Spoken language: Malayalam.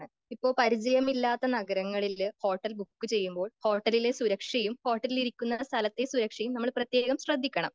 ഇപ്പൊ പരിജയം ഇല്ലാത്ത നഗരങ്ങളില് ഹോട്ടൽ ബുക്ക് ചെയ്യുമ്പോൾ ഹോട്ടലിലെ സുരക്ഷയും ഹോട്ടൽ ഇരിക്കുന്ന സ്ഥലത്തെ സുരക്ഷയും നമ്മൾ പ്രത്യേകം ശ്രദ്ധിക്കണം.